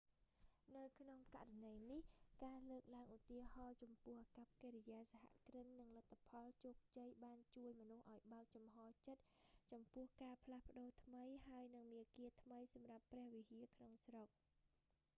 នៅក្នុងករណីនេះ ការលើកឡើងឧទាហរណ៍ចំពោះអាកប្បកិរិយាសហគ្រិន និងលទ្ធផលជោគជ័យបានជួយមនុស្សឱ្យបើកចំហចិត្តចំពោះការផ្លាស់ប្ដូរថ្មី ហើយនិងមាគ៌ាថ្មីសម្រាប់ព្រះវិហារក្នុងស្រុក